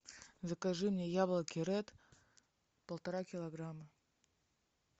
закажи мне яблоки ред полтора килограмма